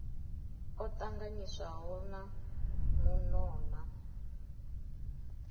o tanganyiswaho na muno na